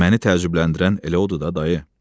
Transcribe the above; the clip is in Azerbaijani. Məni təəccübləndirən elə odur da dayı.